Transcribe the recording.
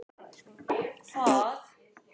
Hann var hlynntur þessum höftum.